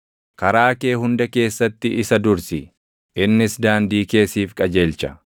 karaa kee hunda keessatti isa dursi; innis daandii kee siif qajeelcha.